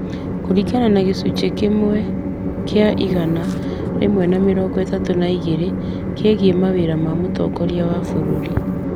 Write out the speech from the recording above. Kũringana na gĩcunjĩ kĩa igana rĩmwe na mĩrongo ĩtatũ na igĩrĩ kĩgiĩ mawĩra ma mũtongoria wa bũrũri ,